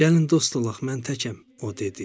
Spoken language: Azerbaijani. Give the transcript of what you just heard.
Gəlin dost olaq, mən təkəm.